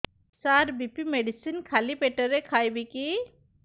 ସାର BP medicine ଖାଲି ପେଟରେ ଖାଇବି କି